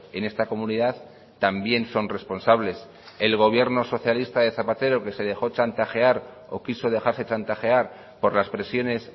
en esta comunidad también son responsables el gobierno socialista de zapatero que se dejó chantajear o quiso dejarse chantajear por las presiones